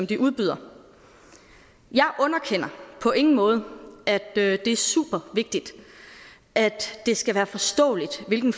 de udbyder jeg underkender på ingen måde at det er supervigtigt at det skal være forståeligt hvilke